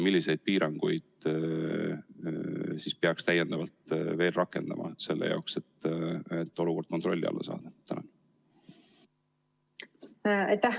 Milliseid piiranguid peaks täiendavalt veel rakendama selle jaoks, et olukord kontrolli alla saada?